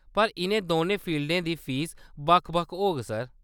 पर इʼनें दौनें फील्डें दी फीस बक्ख-बक्ख होग, सर।